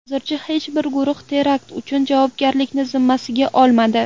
Hozircha hech bir guruh terakt uchun javobgarlikni zimmasiga olmadi.